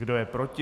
Kdo je proti?